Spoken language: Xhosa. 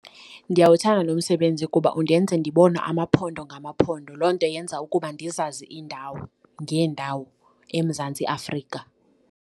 Ndiyawuthanda lo msebenzi kuba undenza ndibone amaphondo ngamaphondo, loo nto yenza ukuba ndizazi iindawo ngeendawo eMzantsi Afrika.